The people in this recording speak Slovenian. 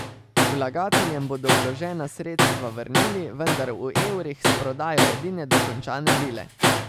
Vlagateljem bodo vložena sredstva vrnili, vendar v evrih s prodajo edine dokončane vile.